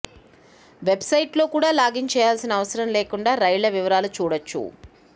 వెబ్సైట్లో కూడా లాగిన్ చేయాల్సిన అవసరం లేకుండా రైళ్ల వివరాలు చూడొచ్చు